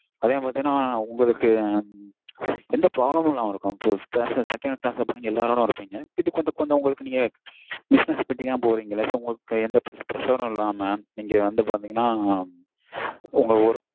அதே பாத்தீங்கனா உங்களுக்கு எந்த problem இல்லாம இருக்கும் so second class ல போனீங்கனா எல்லாரோடயும் இருப்பீங்க இது கொஞ்சம் கொஞ்ச்ம உங்களுக்கு business meeting அ போறீங்களா உங்களுக்கு எந்த pressure ம் இல்லாம நீங்க வந்து பாத்தீங்கனா உங்க work